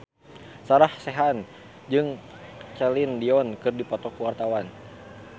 Sarah Sechan jeung Celine Dion keur dipoto ku wartawan